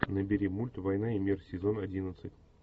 набери мульт война и мир сезон одиннадцать